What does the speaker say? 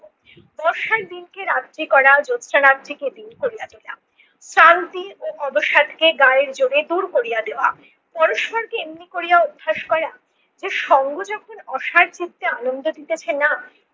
বর্ষার দিনকে রাত্রি করা জোৎস্না রাত্রিকে দিন করিয়া দিলাম। শ্রান্তি ও অবসাদকে গায়ের জোরে দূর করিয়া দেওয়া, পরস্পরকে এমনি করিয়া অভ্যাস করা যে সঙ্গ যখন অসার চিত্তে আনন্দে দিতেছে না